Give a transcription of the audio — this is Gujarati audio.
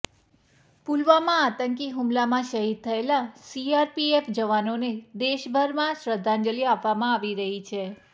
પુલવામા આતંકી હુમલામાં શહીદ થયેલા સીઆરપીએફ જવાનોને દેશભરમાં શ્રદ્ધાંજલિ આપવામાં આવી રહી છે